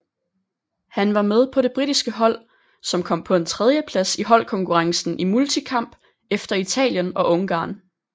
Han var med på det britiske hold som kom på en tredjeplads i holdkonkurrencen i multikamp efter Italien og Ungarn